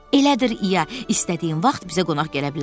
Elədir, İya, istədiyin vaxt bizə qonaq gələ bilərsən.